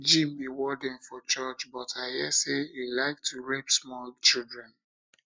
jim be warden for church but i hear say he like to rape small children